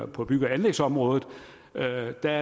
på bygge og anlægsområdet er der